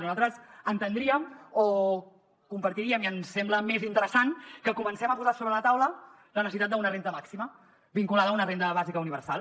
nosaltres entendríem o compartiríem i ens sembla més interessant que comencem a posar sobre la taula la necessitat d’una renda màxima vinculada a una renda bàsica universal